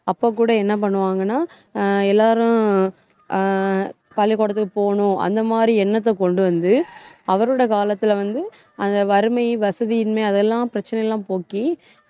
அப்ப கூட என்ன பண்ணுவாங்கன்னா அஹ் எல்லாரும் அஹ் பள்ளிக்கூடத்துக்கு போவணும் அந்த மாதிரி எண்ணத்தை கொண்டு வந்து அவரோட காலத்துல வந்து அந்த வறுமை, வசதியின்மை அதெல்லாம் பிரச்சனை எல்லாம் போக்கி